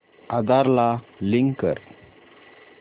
आधार ला लिंक कर